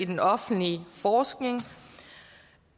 den offentlige forskning